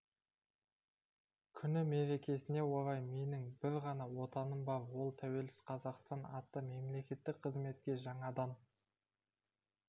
күні мерекесіне орай менің бір ғана отаным бар ол тәуелсіз қазақстан атты мемлекеттік қызметке жаңадан